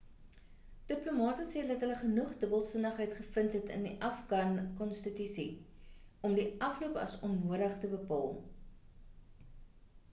diplomate sê dat hulle genoeg dubbelsinnigheid gevind het in die afghan konstitusie om die afloop as onnodig te bepaal